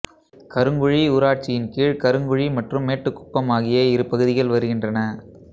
கருங்குழி ஊராட்சியின்கீழ் கருங்குழி மற்றும் மேட்டுக்குப்பம் ஆகிய இரு பகுதிகள் வருகின்றன